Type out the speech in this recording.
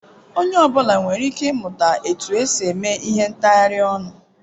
Onye ọ bụla nwere ike ịmụta otu esi eme ihe ntghari onu.